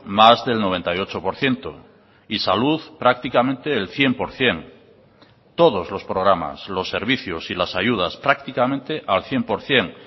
más del noventa y ocho por ciento y salud prácticamente el cien por ciento todos los programas los servicios y las ayudas prácticamente al cien por ciento